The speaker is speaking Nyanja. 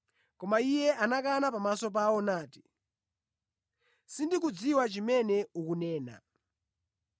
Koma iye anakana pamaso pawo nati, “Sindikudziwa chimene ukunena.”